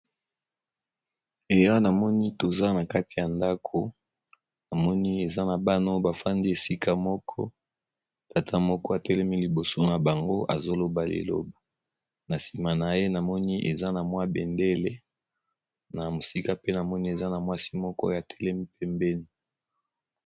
Awa namoni toza na kati ya ndaku, namoni bana bafandi esika moko, na tata moko atelemi liboso na bango